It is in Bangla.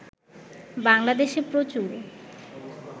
বাংলাদেশে প্রচুর